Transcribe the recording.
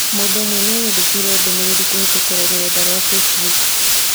mũndũ ũmwe nĩanyandĩkĩire ndũmĩrĩrikũhītũkīra rũrenda rũa facebook